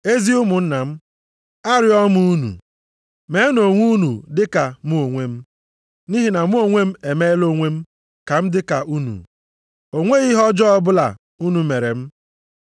Ezi ụmụnna m, arịọọ m unu, meenụ onwe unu dị ka mụ onwe m, nʼihi na mụ onwe m emela onwe m ka m dị ka unu. O nweghị ihe ọjọọ ọbụla unu mere m.